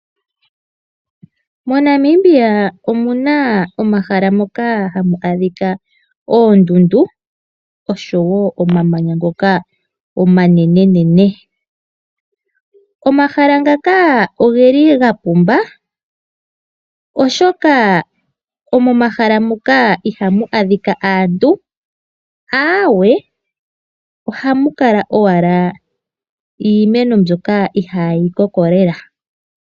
MoNamibia omuna omahala moka hamu adhika oondundu osho woo omamanya ngoka omanenene. Omahala ngaka nogeli gapumba oshoka momahala muka ihamu adhika aantu, aawe ohamu kala owala iimeno mbyoka ihaayi koko lela.